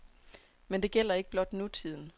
Men det gælder ikke blot nutiden.